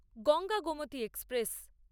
Ganga Gomti express